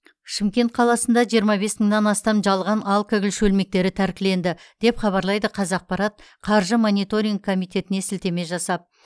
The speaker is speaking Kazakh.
шымкент қаласында жиырма бес мыңнан астам жалған алкоголь шөлмектері тәркіленді деп хабарлайды қазақпарат қаржы мониторингі комитетіне сілтеме жасап